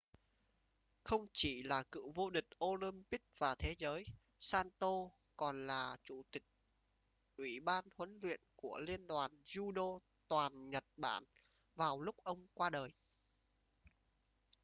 không chỉ là cựu vô địch olympic và thế giới saito còn là chủ tịch ủy ban huấn luyện của liên đoàn judo toàn nhật bản vào lúc ông qua đời